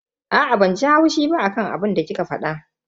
Aa, banji haushi ba akan abinda kika fada.